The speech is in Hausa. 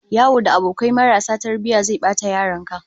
Yawo da abokai marasa tarbiyya zai bata yaron ka